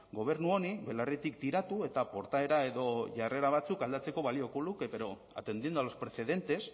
gobernu honi belarritik tiratu eta portaera edo jarrera batzuk aldatzeko balioko luke pero atendiendo a los precedentes